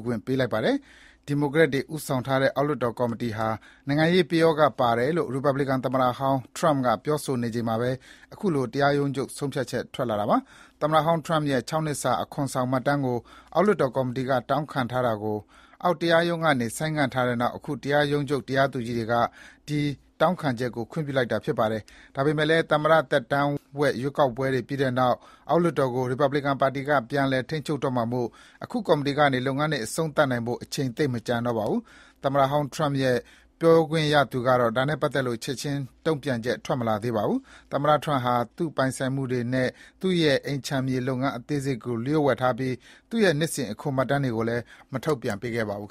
ခွင့်ပြုလိုက်ပါတယ်။ ဒီမိုကရက်အမတ်တွေဦးဆောင်တဲ့ အောက်လွှတ်တော်ကော်မတီဟာ နိုင်ငံရေးပယောဂပါတယ်လို့ ရီပတ်ပလကန်သမ္မတဟောင်း Trump က ပြောဆိုနေချိန် မှာပဲ အခုလို ပြည်ထောင်စု တရားရုံးချုပ်က ဆုံးဖြတ်ချက်ချလိုက်တာပါ။ သမ္မတဟောင်း Trump ရဲ့ ၆ နှစ်စာ အခွန်ဆောင်မှတ်တမ်းကို ဝင်ငွေနဲ့ အခွန်စည်းကြပ်ရေးဆိုင်ရာ အောက်လွှတ်တော်ကော်မတီက တောင်းခံထားတာကို အောက်တရားရုံးတခုခွင့်ပြုခဲ့ပြီးနောက် ပြည်ထောင်စုတရားရုံးချုပ်က ဆုံးဖြတ်ပေးဖို့ သမ္မတ Trump ကလျှောက်ထားခဲ့တာဖြစ်ပါတယ်။ ဒါပေမယ့်လည်း သမ္မတသက်တမ်းဝက် လွှတ်တော်ရွေးကောက်ပွဲတွေပြီးတဲ့နောက် အောက်လွှတ်တော်ကို ရီပတ်ပလင်ကန်ပါတီက ပြန်လည်ထိန်းချုပ်တော့မှာမို့ အခု ကော်မတီကနေ ဒီလုပ်ငန်းတွေ အဆုံးသတ်နိုင်ဖို့ အချိန်သိပ်မကျန်တော့ပါဘူး။ သမ္မတဟောင်း Trump ရဲ့ ပြောခွင့်ရသူကတော့ ဒါနဲ့ပတ်သက်လို့ ချက်ခြင်းတုံ့ပြန်ခြင်း မရှိသေးပါဘူး။ သမ္မတ Trump ဟာ သူ့ပိုင်ဆိုင်မှုတွေနဲ့ သူ့ရဲ့အိမ်ခြံမြေလုပ်ငန်း အသေးစိတ်တွေကို လျှို့ဝှက်ထားပြီး နှစ်စဉ် အခွန်မှတ်တမ်းတွေကိုလည်း ထုတ်ပြန်မပေးခဲ့ပါဘူး